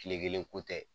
Kile kelen ko tɛ